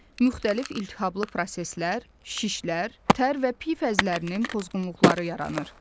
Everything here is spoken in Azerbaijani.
Müxtəlif iltihablı proseslər, şişlər, tər və pi fəzlərinin pozğunluqları yaranır.